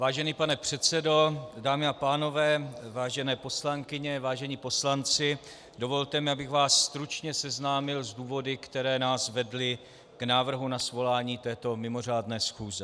Vážený pane předsedo, dámy a pánové, vážené poslankyně, vážení poslanci, dovolte mi, abych vás stručně seznámil s důvody, které nás vedly k návrhu na svolání této mimořádné schůze.